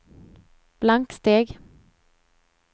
blanksteg